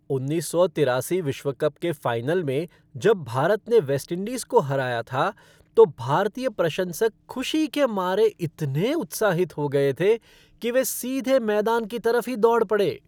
उन्नीस सौ तिरासी विश्व कप के फ़ाइनल में जब भारत ने वेस्टइंडीज़ को हराया था, तो भारतीय प्रशंसक खुशी के मारे इतने उत्साहित हो गए थे कि वे सीधे मैदान की तरफ ही दौड़ पड़े।